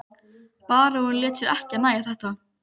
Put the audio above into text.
Baróninn lét sér ekki nægja þetta.